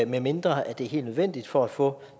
medmindre det er helt nødvendigt for at få